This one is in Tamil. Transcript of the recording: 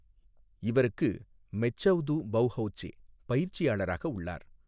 இவருக்கு மெச்சவ்து பௌஹௌச்சே பயிற்சியாளராக உள்ளார்.